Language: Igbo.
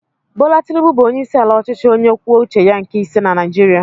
Bola Tinubu bụ onyeisiala ọchịchị onye kwuo uche ya nke ise na Naijiria.